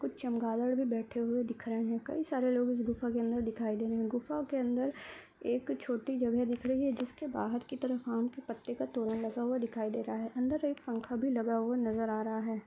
कुछ चमगादर भी बैठे हुए दिख रहे हैं। कई सारे लोग गुफा के अंदर दिखाई दे रहे है। गुफा के अंदर एक छोटी जगह दिख रही है। जिसके बाहर की तरफ आम के पत्ते का तोड़ लगा हुआ दिखाई दे रहा है। अंदर एक पंखा भी लगा हुआ नजर आ रहा है।